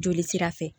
Joli sira fɛ